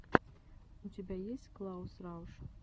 у тебя есть клаус рауш